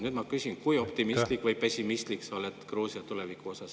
Nüüd ma küsin, kui optimistlik või pessimistlik sa oled Gruusia tuleviku osas.